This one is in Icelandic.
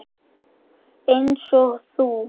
Einsog þú.